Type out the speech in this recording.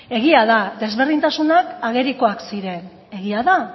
egia da ezberdintasunak agerikoak ziren egia da